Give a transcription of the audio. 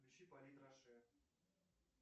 включи полит роше